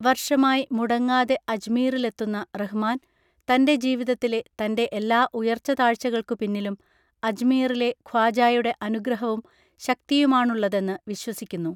വർഷമായി മുടങ്ങാതെ അജ്മീറിലെത്തുന്ന റഹ്മാൻ തന്റെ ജീവിതത്തിലെ തന്റെ എല്ലാ ഉയർച്ചതാഴ്ചകൾക്കു പിന്നിലും അജ്മീറിലെ ഖ്വാജായുടെ അനുഗ്രഹവും ശക്തിയുമാണുള്ളതെന്ന് വിശ്വസിക്കുന്നു